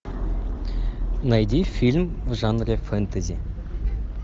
найди фильм в жанре фэнтези